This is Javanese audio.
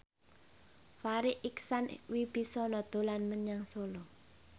Farri Icksan Wibisana dolan menyang Solo